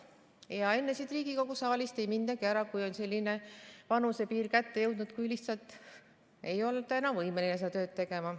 Enne ei mindagi siit Riigikogu saalist ära, kui on kätte jõudnud selline vanusepiir, et lihtsalt ei olda enam võimeline seda tööd tegema.